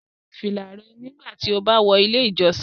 Yọ fila rẹ nigbati o ba wọ ile ijọsin